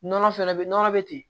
Nɔnɔ fɛnɛ bɛ nɔnɔ bɛ ten